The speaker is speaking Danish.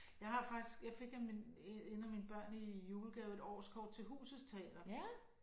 Jeg har faktisk jeg fik af mine en af mine børn i julegave et årskort til Husets Teater